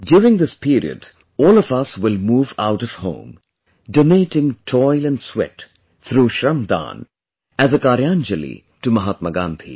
During this period, all of us will move out of home, donating toil & sweat through 'Shramdaan', as a 'Karyanjali' to Mahatma Gandhi